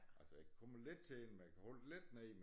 Altså jeg kan komme lidt til hende man kan holde det lidt nede